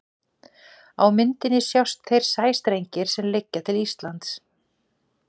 á myndinni sjást þeir sæstrengir sem liggja til íslands